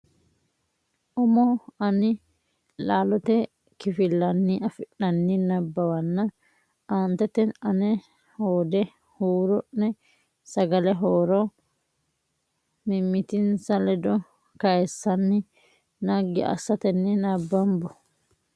umo ani laalote kifilenni afi nanni nabbawanna aantete ane hoode huuro ne sagale horo mimmitinsa ledo kayissanni naggi assatenni nabbambo.